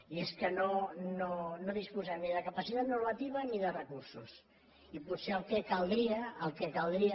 i és que no disposem ni de capacitat normativa ni de recursos i potser el que caldria el que caldria